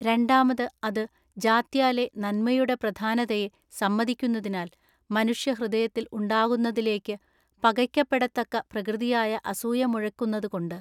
രണ്ടാമത് അത് ജാത്യാലെ നന്മയുടെ പ്രധാനതയെ സമ്മതിക്കുന്നതിനാൽ മനുഷ്യ ഹൃദയത്തിൽ ഉണ്ടാകുന്നതിലേക്കു പകയ്ക്കപ്പെടത്തക്ക പ്രകൃതിയായ അസൂയ മുഴക്കുന്നതുകൊണ്ട്‌.